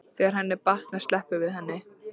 Þegar henni er batnað sleppum við henni.